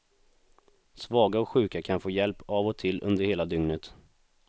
Svaga och sjuka kan få hjälp av och till under hela dygnet.